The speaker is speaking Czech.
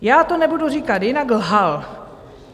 Já to nebudu říkat jinak, lhal.